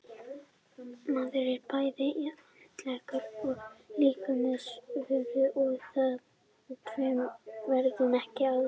Maðurinn er bæði andleg og líkamleg vera og þetta tvennt verður ekki aðskilið.